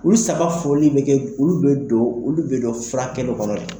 Olu saba foli bɛ kɛ, olu bɛ don, olu bɛ don furakɛli kɔnɔ dɛ.